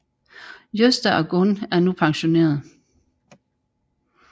Gösta og Gun er nu pensionerede